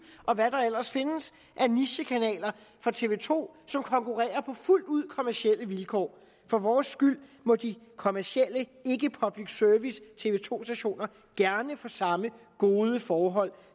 og hvad der ellers findes af nichekanaler fra tv to som konkurrerer på fuldt ud kommercielle vilkår for vores skyld må de kommercielle tv to stationer gerne få samme gode forhold